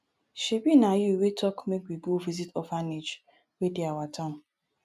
shebi na you wey talk make we go visit orphanage wey dey our town